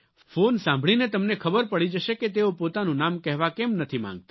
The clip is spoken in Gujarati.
ફોન સાંભળીને તમને ખબર પડી જશે કે તેઓ પોતાનું નામ કહેવા કેમ નથી માગતા